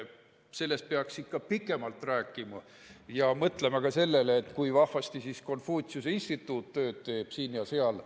Sellest peaks ikka pikemalt rääkima ja mõtlema ka sellele, kui vahvasti Konfutsiuse Instituut tööd teeb siin ja seal.